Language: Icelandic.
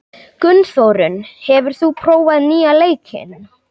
Gunnþórunn, hefur þú prófað nýja leikinn?